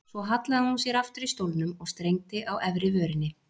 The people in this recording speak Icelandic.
Svo hallaði hún sér aftur í stólnum og strengdi á efri vörinni.